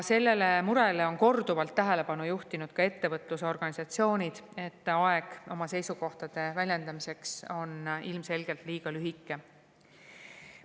Sellele murele on korduvalt tähelepanu juhtinud ka ettevõtlusorganisatsioonid, et aeg oma seisukohtade väljendamiseks on ilmselgelt liiga lühike.